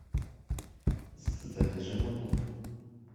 закажи морковку